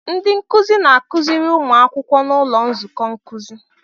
Ndị nkuzi na-akụziri ụmụ akwụkwọ n'ụlọ nzukọ nkuzi.